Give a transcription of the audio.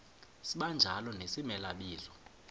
sibanjalo nezimela bizo